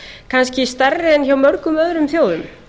kannski stærri en hjá mörgum öðrum þjóðum